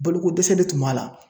Balo ko dɛsɛ de tun b'a la.